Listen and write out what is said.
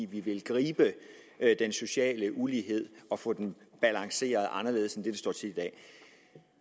vi vil gribe den sociale ulighed og få den balanceret anderledes